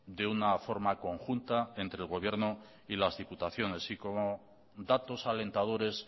de una forma conjunta entre el gobierno y las diputaciones y con datos alentadores